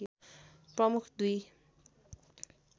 प्रमुख दुई